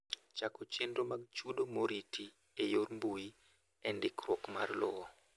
Chako chenro mag chudo moriti e yor mbui e ndikruok mar lowo.